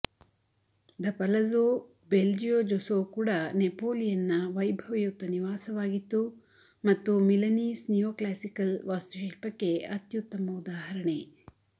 the Palazzo Belgiojoso ಕೂಡ ನೆಪೋಲಿಯನ್ನ ವೈಭವಯುತ ನಿವಾಸವಾಗಿತ್ತು ಮತ್ತು ಮಿಲನೀಸ್ ನಿಯೋಕ್ಲಾಸಿಕಲ್ ವಾಸ್ತುಶಿಲ್ಪಕ್ಕೆ ಅತ್ಯುತ್ತಮ ಉದಾಹರಣೆ